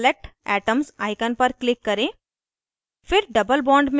tool bar में select atoms icon पर click करें